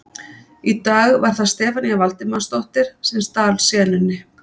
Í dag var það Stefanía Valdimarsdóttir sem stal senunni.